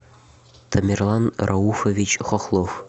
тамерлан рауфович хохлов